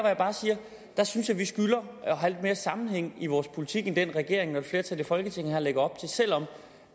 jeg bare siger at jeg synes vi skylder at have lidt mere sammenhæng i vores politik end den regeringen og et flertal i folketinget her lægger op til selv om